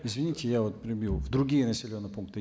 извините я вот перебью в другие населенные пункты